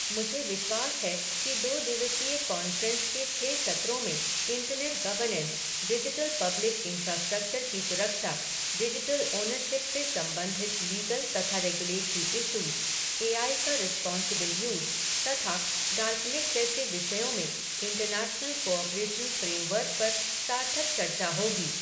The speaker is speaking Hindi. मुझे विश्वास है कि दो दिवसीय कॉन्फ़्रेंस के छः सत्रों में internet governance, digital public infrastructure की सुरक्षा, डिजिटल ऑनरशिप से संबंधित लीगल तथा रेगुलेटरी इशूज़, ए आई का रिस्पोंसिबल यूज़ तथा डार्क नेट जैसे विषयों में इंटरनैशनल कोऑपरेशन फ़्रेमवर्क पर सार्थक चर्चा होगी।